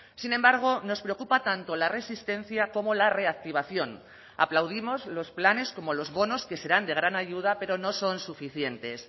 sin embargo nos preocupa tanto la resistencia como la reactivación aplaudimos los planes como los bonos que serán de gran ayuda pero no son suficientes